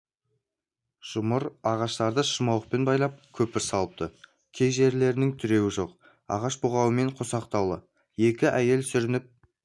жұмыр ағаштарды шырмауықпен байлап көпір салыпты кей жерлерінің тіреуі жоқ ағаш бұғаумен қосақтаулы екі әйел сүрініп